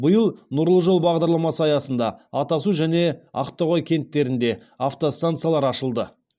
биыл нұрлы жол бағдарламасы аясында атасу және ақтоғай кенттерінде автостанциялар ашылды